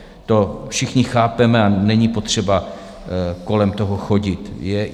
To všichni chápeme a není potřeba kolem toho chodit.